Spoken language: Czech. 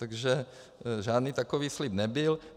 Takže žádný takový slib nebyl.